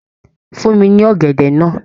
fún mi ní ọ̀gẹ̀dẹ̀ náà